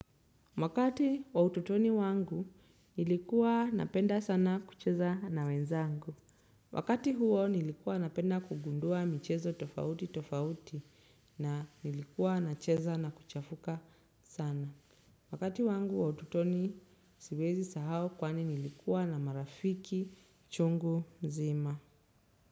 Wakati wa ututoni wangu nilikuwa napenda sana kucheza na wenzangu. Wakati huo nilikuwa napenda kugundua michezo tofauti tofauti na nilikuwa nacheza na kuchafuka sana. Wakati wangu wa ututoni siwezi sahau kwani nilikuwa na marafiki chungu mzima.